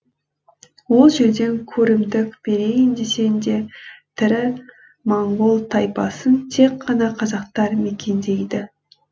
ол жерден көрімдік берейін десең де тірі моңғол тайпасын тек қана қазақтар мекендейді